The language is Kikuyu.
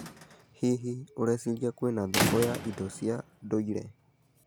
Hihi, ũreciria kwĩna thoko ya indo cia ndũire.